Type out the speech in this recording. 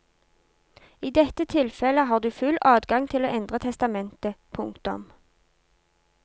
I dette tilfelle har du full adgang til å endre testamentet. punktum